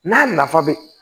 N'a nafa be